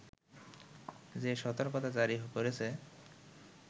যে সতর্কতা জারি করেছে